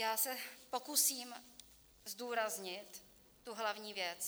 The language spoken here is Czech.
Já se pokusím zdůraznit tu hlavní věc.